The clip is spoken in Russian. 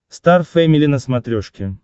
стар фэмили на смотрешке